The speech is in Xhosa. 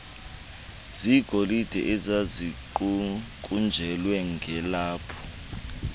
zegolide ezaziqukunjelwe ngelaphu